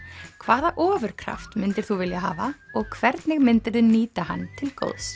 hvaða myndir þú vilja hafa og hvernig myndirðu nýta hann til góðs